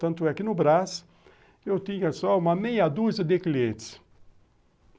Tanto é que no Brás, eu tinha só uma meia dúzia de clientes.